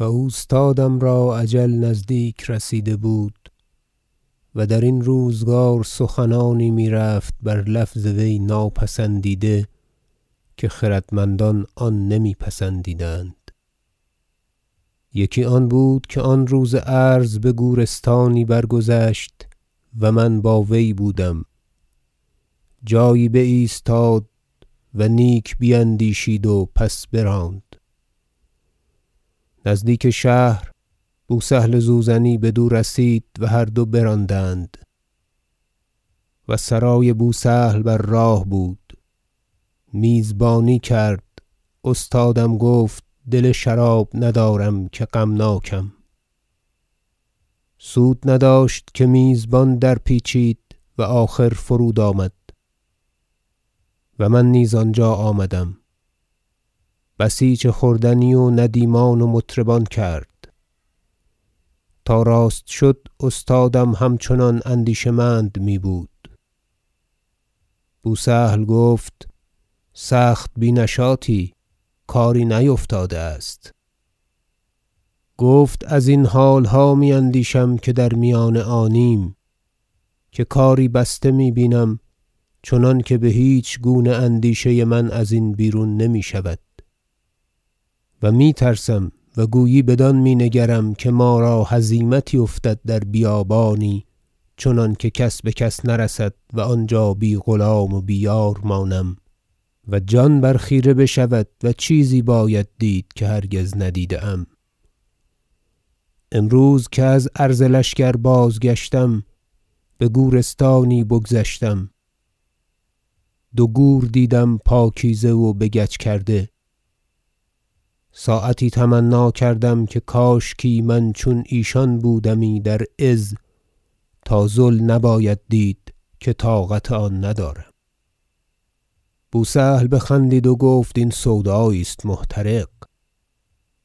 و اوستادم را اجل نزدیک رسیده بود و درین روزگار سخنانی میرفت بر لفظ وی ناپسندیده که خردمندان آن نمی پسندیدند یکی آن بود که آن روز عرض بگورستانی برگذشت و من با وی بودم جایی بایستاد و نیک بیندیشید و پس براند نزدیک شهر بو سهل زوزنی بدو رسید و هر دو براندند و سرای بو سهل بر راه بود میزبانی کرد استادم گفت دل شراب ندارم که غمناکم سود نداشت که میزبان در پیچید و آخر فرود آمد و من نیز آنجا آمدم بسیچ خوردنی و ندیمان و مطربان کرد تا راست شد استادم همچنان اندیشه مند میبود بو سهل گفت سخت بی نشاطی کاری نیفتاده است گفت ازین حالها میاندیشم که در میان آنیم که کاری بسته می بینم چنانکه بهیچ گونه اندیشه من ازین بیرون نمیشود و میترسم و گویی بدان می نگرم که ما را هزیمتی افتد در بیابانی چنانکه کس بکس نرسد و آنجا بی غلام و بی یار مانم و جان بر خیره بشود و چیزی باید دید که هرگز ندیده ام امروز که از عرض لشکر بازگشتم بگورستانی بگذشتم دو گور دیدم پاکیزه و بگچ کرده ساعتی تمنی کردم که کاشکی من چون ایشان بودمی در عز تا ذل نباید دید که طاقت آن ندارم بو سهل بخندید و گفت این سودایی است محترق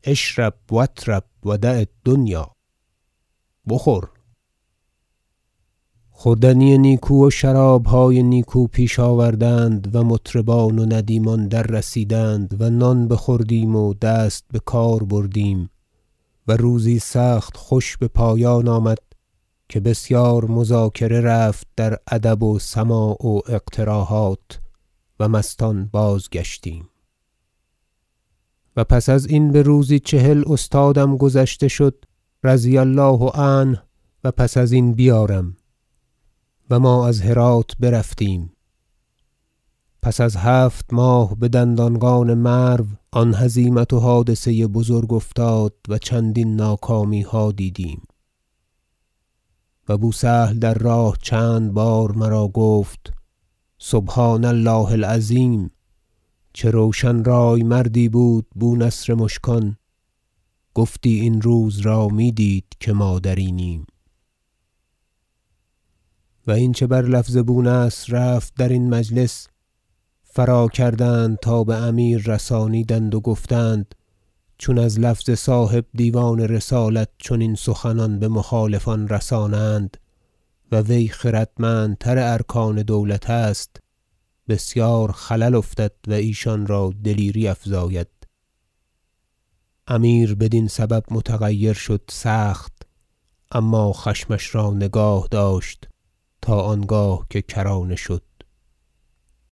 اشرب و اطرب و دع- الدنیا بخور خوردنی نیکو و شرابهای نیکو پیش آوردند و مطربان و ندیمان در رسیدند و نان بخوردیم و دست بکار بردیم و روزی سخت خوش بپایان آمد که بسیار مذاکره رفت در ادب و سماع و اقتراحات و مستان بازگشتیم و پس ازین بروزی چهل استادم گذشته شد رضی الله عنه- و پس ازین بیارم- و ما از هرات برفتیم و پس از هفت ماه بدندانقان مرو آن هزیمت و حادثه بزرگ افتاد و چندین ناکامیها دیدیم و بو سهل در راه چند بار مرا گفت سبحان الله العظیم چه روشن رای مردی بود بو نصر مشکان گفتی این روز را میدید که ما در اینیم و این چه بر لفظ بو نصر رفت درین مجلس فراکردند تا بامیر رسانیدند و گفتند چون از لفظ صاحب دیوان رسالت چنین سخنان بمخالفان رسانند و وی خردمندتر ارکان دولت است بسیار خلل افتد و ایشان را دلیری افزاید امیر بدین سبب متغیر شد سخت اما خشمش را نگاه داشت تا آنگاه که کرانه شد